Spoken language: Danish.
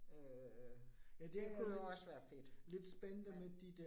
Øh det kunne også være fedt, men